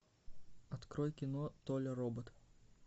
открой кино толя робот